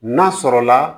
N'a sɔrɔla